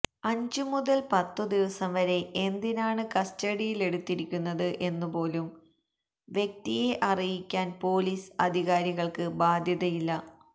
അഞ്ചുമുതല് പത്തുദിവസം വരെ എന്തിനാണ് കസ്റ്റഡിയിലെടുത്തിരിക്കുന്നത് എന്നുപോലും വ്യക്തിയെ അറിയിക്കാന് പൊലീസ് അധികാരികള്ക്ക് ബാധ്യതയില്ല